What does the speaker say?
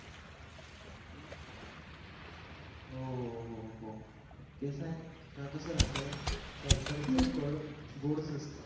हो हो हो ते काय कळत तस राहत साबार च फळ गोडच असत